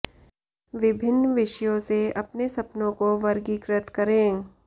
विभिन्न विषयों से अपने सपनों को वर्गीकृत करें